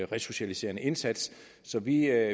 resocialiserende indsats så vi